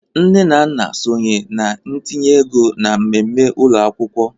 Nne na nna sonye na ntinye ego na mmemme ụlọ akwụkwọ.